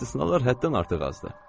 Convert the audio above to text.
İstisnalar həddindən artıq azdır.